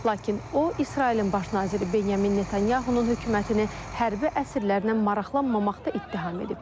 Lakin o İsrailin Baş naziri Benyamin Netanyahunun hökumətini hərbi əsirlərlə maraqlanmamaqda ittiham edib.